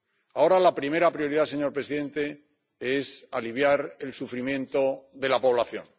Ahora, la primera prioridad, señor presidente, es aliviar el sufrimiento de la población.